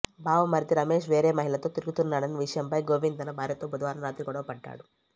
బావమరిది రమేష్ వేరే మహిళతో తిరుగుతున్నాడన్న విషయంపై గోవింద్ తన భార్యతో బుధవారం రాత్రి గొడవ పడ్డాడు